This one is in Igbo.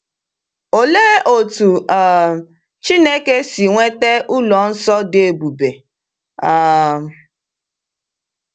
Olee otú um Chineke si nweta ụlọ nsọ dị ebube? um